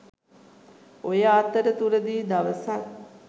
ඔය අතර තුරදි දවසක්